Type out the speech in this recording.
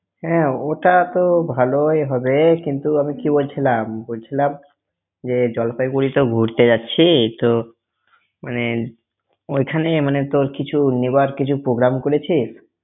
হ্যাঁ ওটা তো ভালই হবে, কিন্তু আমি কি বলছিলাম বলছিলাম যে জলপাইগুড়িতে ঘুরতে যাচ্ছি তো মানে ওইখানে মানে তো কিছু নিবার কিছু program করেছি।